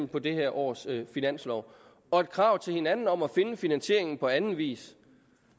på det her års finanslov og et krav til hinanden om at finde finansieringen på anden vis